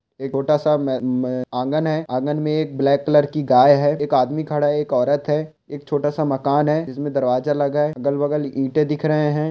एक ओटा सा में - में-आँगन है आँगन में एक ब्लैक कलर की गाय है एक आदमी खड़ा है एक औरत है एक छोटा सा मकान है जिसमें दरवाजा लगा है अगल-बगल ईंटें दिख रहे हैं ।